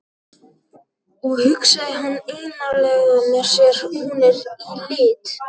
Og, hugsaði hann einarðlega með sér, hún er í lit.